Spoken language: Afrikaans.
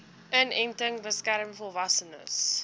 inenting beskerm volwassenes